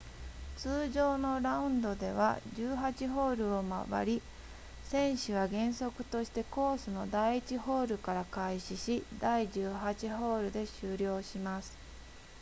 通常のラウンドでは18ホールを回り選手は原則としてコースの第1ホールから開始し第18ホールで終了します